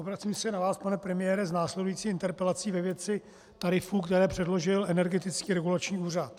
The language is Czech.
Obracím se na vás, pane premiére, s následující interpelací ve věci tarifů, které předložil Energetický regulační úřad.